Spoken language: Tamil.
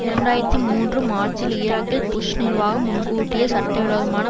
இரண்டாயிரத்தி மூன்று மார்ச்சில் ஈராக்கில் புஷ் நிர்வாகம் முன்கூட்டியே சட்டவிரோதமான